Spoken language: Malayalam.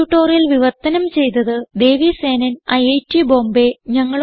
ഈ ട്യൂട്ടോറിയൽ വിവർത്തനം ചെയ്തത് ദേവി സേനൻ ഐറ്റ് ബോംബേ